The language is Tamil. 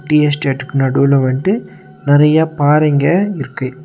டீ எஸ்டேட்டுக்கு நடுவுல வன்டு நறைய பாறைங்க இருக்கு.